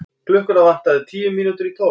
Klukkuna vantaði tíu mínútur í tólf.